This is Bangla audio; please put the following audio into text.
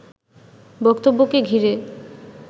বক্তব্যকে ঘিরে